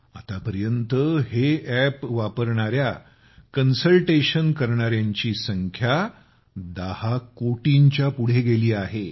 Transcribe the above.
आतापर्यंत हे अॅप वापरणाऱ्या टेलिकन्सल्टेशनची संख्या 10 कोटींच्या पुढे गेली आहे